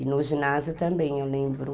E no ginásio também, eu lembro.